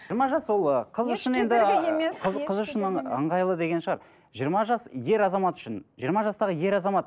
жиырма жас ол ы қыз үшін енді ы қыз қыз үшін ыңғайлы деген шығар жиырма жас ер азамат үшін жиырма жастағы ер азамат